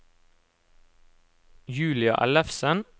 Julia Ellefsen